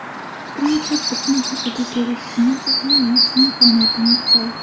Fikrimcha, bitim haqida kelishishimiz uchun yaxshi imkoniyatimiz bor.